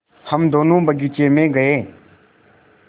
हम दोनो बगीचे मे गये